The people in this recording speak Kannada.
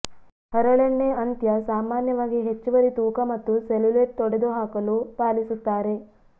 ಹರಳೆಣ್ಣೆ ಅಂತ್ಯ ಸಾಮಾನ್ಯವಾಗಿ ಹೆಚ್ಚುವರಿ ತೂಕ ಮತ್ತು ಸೆಲ್ಯುಲೈಟ್ ತೊಡೆದುಹಾಕಲು ಪಾಲಿಸುತ್ತಾರೆ